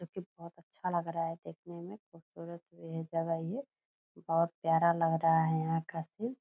जो की बहुत अच्छा लग रहा है देखने में खूबसूरत भी है जगह ये बहुत प्यारा लग रहा है यहाँ का सीन ।